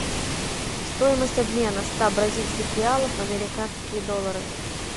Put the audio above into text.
стоимость обмена ста бразильских реалов в американские доллары